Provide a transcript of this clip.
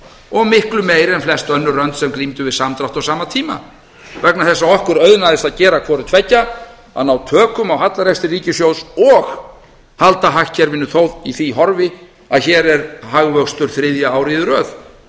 og miklu meiri en flest önnu lönd sem glímdu við samdrátt á sama tíma vegna þess að okkur auðnaðist að hvorutveggja að ná tökum á hallarekstri ríkissjóðs og halda hagkerfinu þó í því horfi að hér er hagvöxtur þriðja árið í röð